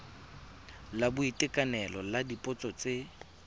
la boitekanelo la dipotso tse